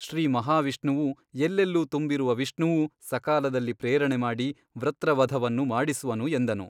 ಶ್ರೀ ಮಹಾವಿಷ್ಣುವು ಎಲ್ಲೆಲ್ಲೂ ತುಂಬಿರುವ ವಿಷ್ಣುವು ಸಕಾಲದಲ್ಲಿ ಪ್ರೇರಣೆ ಮಾಡಿ ವೃತ್ರವಧವನ್ನು ಮಾಡಿಸುವನು ಎಂದನು.